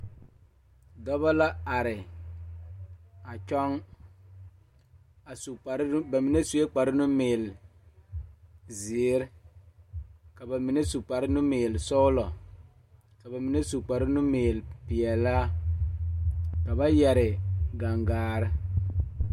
Dɔba la are a kyɔŋ a su kpare ba mine sue kparenumeele zeere ka ba mine su kparenumeelesɔglɔ ka mine su kparenumeelepeɛlaa ka ba yɛre gangaare.